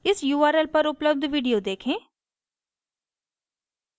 इस url पर उपलब्ध video देखें